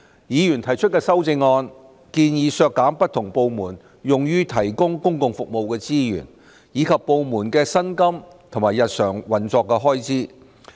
議員提出的修正案建議削減不同部門用於提供公共服務的資源，以及部門的薪金和日常運作開支。